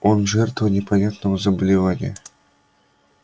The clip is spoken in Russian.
он жертва непонятного заболевания